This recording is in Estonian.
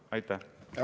Aitäh!